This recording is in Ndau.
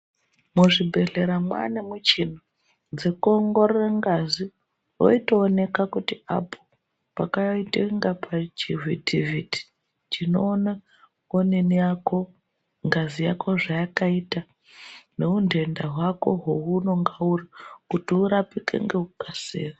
Muzvibhedhlera mwane michini dzekuongorora ngazi veitooneka kuti apo pakaite kunga pachivhitivhiti. Chinona onini yako ngazi yako zvayakaita nehuntenda hwako hwaunenge uri kuti urapike ngekukasira..